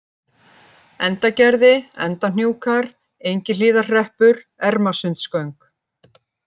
Endagerði, Endahnjúkar, Engihlíðarhreppur, Ermarsundsgöng